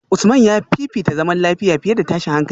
Usman ya fifita zaman lafiya fiye da tashin hankali